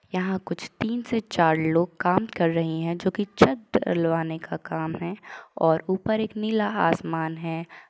यहाँ कुछ तीन से चार लोग काम काम रहे है जोकि छत डलवाने का काम है और ऊपर एक नीला आसमान है।